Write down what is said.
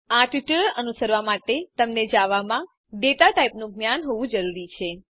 આ ટ્યુટોરીયલ અનુસરવા માટે તમને જવામાં ડેટા ટાઇપનું જ્ઞાન હોવું જરૂરી છે